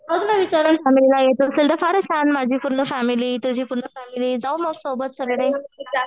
बघ ना विचारून फॅमिलीला येत असेल तर फारच छान. माझी पूर्ण फॅमिली तुझी पूर्ण फॅमिली जाऊ मग सोबत सगळे.